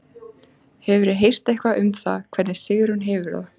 Hefurðu heyrt eitthvað um hvernig Sigrún hefur það?